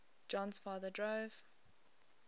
jon's father drove